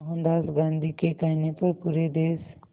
मोहनदास गांधी के कहने पर पूरे देश